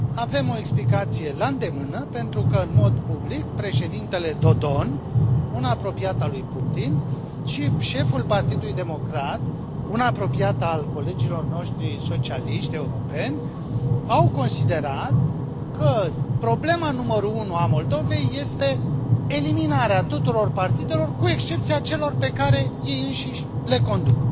Avem o explicație la îndemână pentru că, în mod public, președintele Dodon, un apropiat al lui Putin, și șeful Partidului Democrat, un apropiat al colegilor noștri socialiști europeni, au considerat că problema numărul unu a Moldovei este eliminarea tuturor partidelor cu excepția celor pe care ei înșiși le conduc.